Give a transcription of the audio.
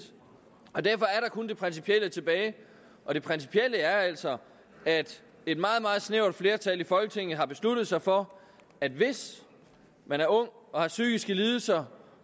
og derfor er der kun det principielle tilbage og det principielle er altså at et meget meget snævert flertal i folketinget har besluttet sig for at hvis man er ung og har psykiske lidelser